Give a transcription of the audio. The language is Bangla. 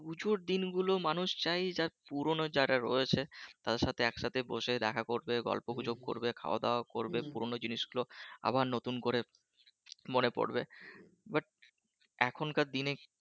পূজোর দিন গুলো মানুষ চায় পুরনো মানুষগুলো যারা রয়েছে তারা একসাথে বসে দেখা করবে গল্প গুজব করবে খাওয়া-দাওয়া করবে পুরনো জিনিসগুলো আবার নতুন করে মনে পড়বে but এখনকার দিনে